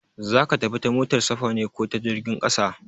Za ka tafi ta motar safa ne ko ta jirgin ƙasa?